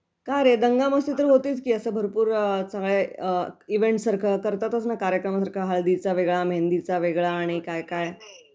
का रे? दंगामस्ती तर होतीच की असं भरपूर वेळा असं इव्हेंट सारखं करतातच ना कार्यक्रम हळदीचा वेगळा, मेंदीचा वेगळा आणि काय काय